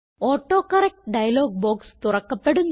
autocorrect dialog box തുറക്കപ്പെടുന്നു